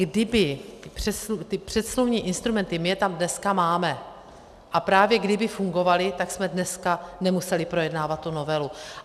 Kdyby ty předsmluvní instrumenty - my je tam dneska máme, a právě kdyby fungovaly, tak jsme dneska nemuseli projednávat tu novelu.